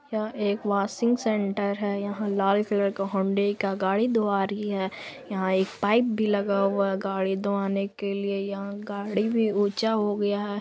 यहा एक washing centre है यहा लाल कलर के होंडे का गाड़ी धुवा रही है यहा एक पाइप भी लगा हुआ है गाड़ी धुआने के लिए यहा गाड़ी भी ऊंचा हो गया है।